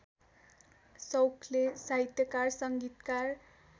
सौखले साहित्यकार संगीतकार